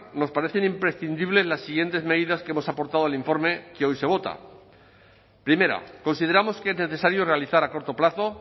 nos parecen imprescindibles las siguientes medidas que hemos aportado al informe que hoy se vota primera consideramos que es necesario realizar a corto plazo